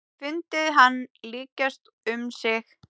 Fundið hann lykjast um sig.